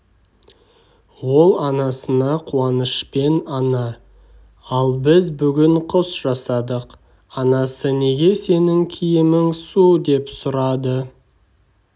ол анасына қуанышпен ана ал біз бүгін құс жасадық анасы неге сенің киімің су деп сұрады